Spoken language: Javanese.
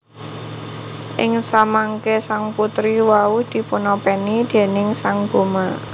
Ing samangké sang putri wau dipun opèni déning sang Bhoma